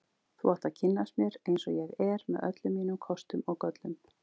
Þú átt að kynnast mér eins og ég er, með öllum mínum kostum og göllum.